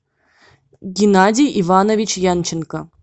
геннадий иванович янченко